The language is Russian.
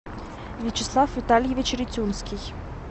вячеслав витальевич ритюнский